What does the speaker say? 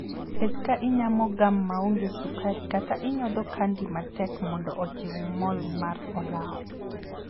Bed ka inyamo gam ma onge sukar kata inyodho 'candy' matek mondo ojiw mol mar olaw.